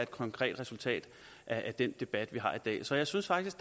konkret resultat af den debat vi har i dag så jeg synes faktisk